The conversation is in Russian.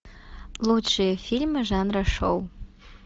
лучшие фильмы жанра шоу